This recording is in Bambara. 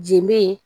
Je be yen